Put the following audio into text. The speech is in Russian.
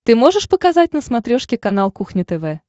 ты можешь показать на смотрешке канал кухня тв